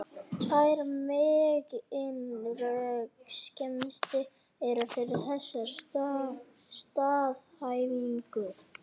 Tvær meginröksemdir eru fyrir þessari staðhæfingu.